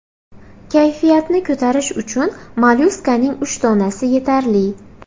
Kayfiyatni ko‘tarish uchun mollyuskaning uch donasi yetarli.